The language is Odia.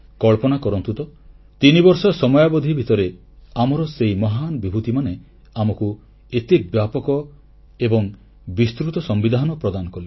କଳ୍ପନା କରନ୍ତୁ ତ 3 ବର୍ଷ ସମୟାବଧି ଭିତରେ ଆମର ସେହି ମହାନ ବିଭୂତିମାନେ ଆମକୁ ଏତେ ବ୍ୟାପକ ଏବଂ ବିସ୍ତୃତ ସମ୍ବିଧାନ ପ୍ରଦାନ କଲେ